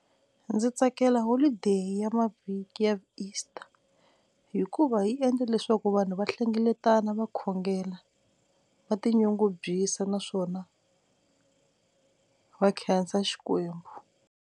Ndzi tsakela holideyi ya mavhiki ya Easter hikuva yi endle leswaku vanhu va hlengeletana va khongela va tinyungubyisa naswona va khensa xikwembu.